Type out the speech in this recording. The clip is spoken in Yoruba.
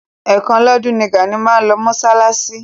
Ẹ̀ kan lọ́dún ni Gàní máa ń lọ mọ́ṣáláṣí.